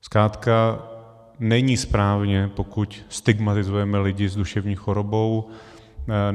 Zkrátka není správně, pokud stigmatizujeme lidi s duševní chorobou.